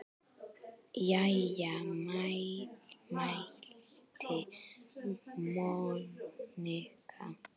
Jæja mælti Monika.